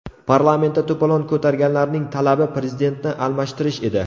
Parlamentda to‘polon ko‘targanlarning talabi Prezidentni almashtirish edi.